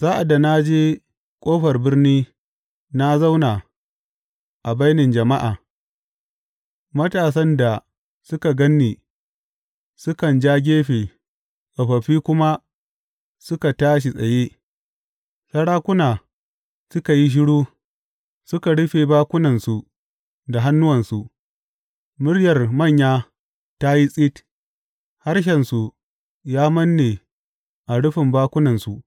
Sa’ad da na je ƙofar birni na zauna a bainin jama’a, matasan da suka gan ni sukan ja gefe tsofaffi kuma suka tashi tsaye; sarakuna suka yi shiru suka rufe bakunansu da hannuwansu; Muryar manya ta yi tsit harshensu ya manne a rufin bakunansu.